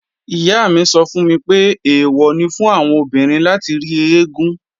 Ìyá mi sọ fún mi pé, èwọ̀ ni fún àwọn obìnrin láti rí eégún